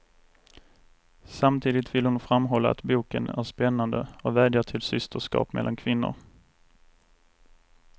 Samtidigt vill hon framhålla att boken är spännande och vädjar till systerskap mellan kvinnor.